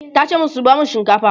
tace mata 'zuba masu shinkafa!"